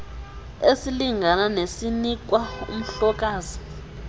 esilingana nesinikwa umhlokazi